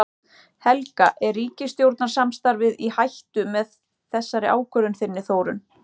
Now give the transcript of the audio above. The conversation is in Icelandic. Helga: Er ríkisstjórnarsamstarfið í hættu með þessari ákvörðun þinni Þórunn?